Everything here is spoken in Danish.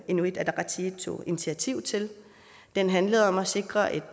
inuit ataqatigiit tog initiativ til den handlede om at sikre et